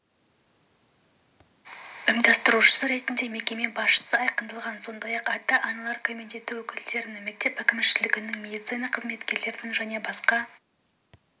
ұйымдастырушысы ретінде мекеме басшысы айқындалған сондай-ақ ата-аналар комитеті өкілдерінің мектеп әкімшілігінің медицина қызметкерінің және басқа